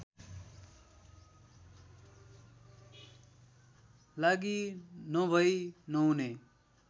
लागि नभै नहुने